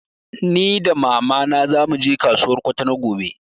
Ni da mama na zamu je kasuwar Kwatano gobe